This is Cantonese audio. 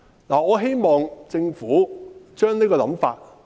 我希望政府放下這種想法。